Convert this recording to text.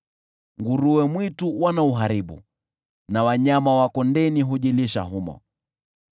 Nguruwe mwitu wanauharibu na wanyama wa kondeni hujilisha humo.